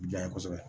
Janɲɛ kosɛbɛ